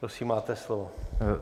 Prosím, máte slovo.